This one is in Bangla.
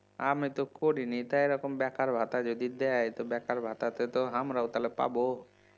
আমি তো করিনি তা এরকম বেকার ভাতা যদি দেয় বেকার ভাতা তে তো আমরাও তাহলে পাবো